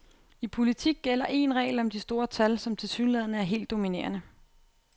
I politik gælder en regel om de store tal, som tilsyneladende er helt dominerende.